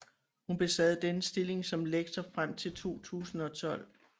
Hun besad denne stilling som lektor frem til 2012